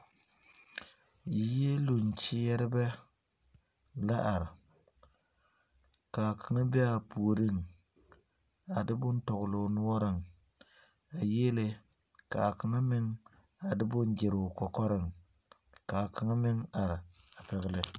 Yieluŋ kyeɛrebɛ la are ka a kaŋa be a puoriŋ a de bone tɔgle o noɔreŋ a yiele ka a kaŋa meŋ a de bone gyiri o kɔkɔreŋ ka a kaŋa meŋ are a pɛgle.